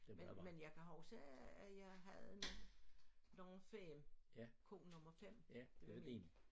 Men men jeg kan huske at jeg havde nogle nogle 5 ko nummer 5 det var min